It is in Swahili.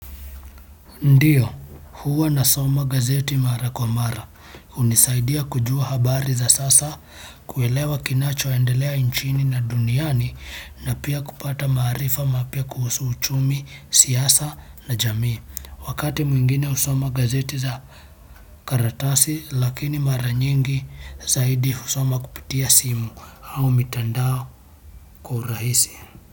Ndiyo, huwa nasoma gazeti mara kwa mara, hunisaidia kujua habari za sasa na kuelewa kinachoendelea nchini na duniani. Na pia kupata maarifa mapya kuhusu uchumi, siasa na jamii, wakati mwingine nasoma gazeti la karatasi lakini mara nyingi zaidi husoma kupitia simu au mitandao kwa urahisi.